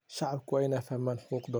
Shacabku waa inay fahmaan xuquuqdooda.